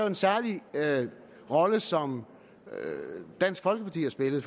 en særlig rolle som dansk folkeparti har spillet